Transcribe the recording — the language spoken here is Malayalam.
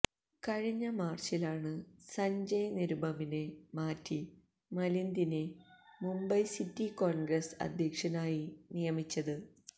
കഴിഞ്ഞ മാര്ച്ചിലാണ് സഞ്ജയ് നിരുപമിനെ മാറ്റി മിലിന്ദിനെ മുംബൈ സിറ്റി കോണ്ഗ്രസ് അധ്യക്ഷനായി നിയമിച്ചത്